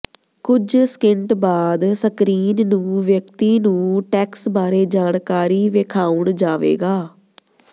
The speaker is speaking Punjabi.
ਕੁਝ ਸਕਿੰਟ ਬਾਅਦ ਸਕਰੀਨ ਨੂੰ ਵਿਅਕਤੀ ਨੂੰ ਟੈਕਸ ਬਾਰੇ ਜਾਣਕਾਰੀ ਵੇਖਾਉਣ ਜਾਵੇਗਾ